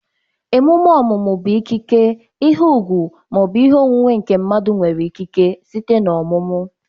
Ememe ọmụmụ bụ ikike, ihe ùgwù, ma ọ bụ ihe onwunwe nke mmadụ nwere ikike site na ọmụmụ